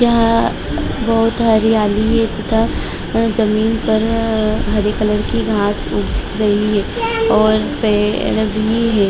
यहाँ बहुत हरियाली है तथा जमीन पर अ हरी कलर की घास उग गई है और पेड़ भी है।